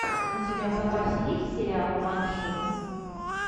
у тебя в запасе есть сериал банши